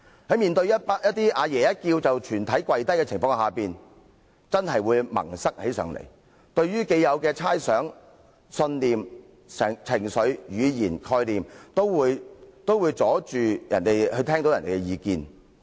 在面對"阿爺"一叫便全體跪低的情況時，某些人真的會變得"萌塞"，既有的猜想、信念、情緒、語言、概念，都會阻礙他們聽取別人的意見。